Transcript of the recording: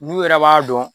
N'u yɛrɛ b'a dɔn